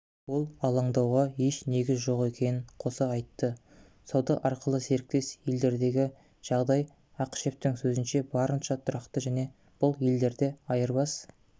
ол алаңдауға еш негіз жоқ екенін қоса айтты сауда арқылы серіктес елдердегі жағдай ақышевтің сөзінше барынша тұрақты және бұл елдерде айырбас